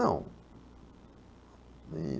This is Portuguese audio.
Não.